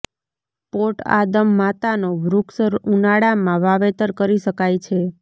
pot આદમ માતાનો વૃક્ષ ઉનાળામાં વાવેતર કરી શકાય છે